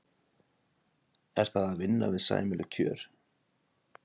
Er það að vinna við sæmileg kjör?